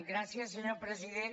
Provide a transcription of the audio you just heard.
gràcies senyor president